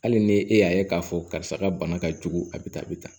Hali ni e y'a ye k'a fɔ karisa ka bana ka jugu a bɛ tan a bɛ tan